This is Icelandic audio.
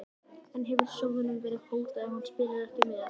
En hefur sjóðnum verið hótað ef hann spilar ekki með?